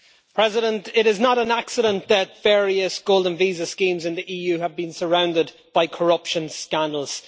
Mr President, it is not an accident that various golden visa schemes in the EU have been surrounded by corruption scandals.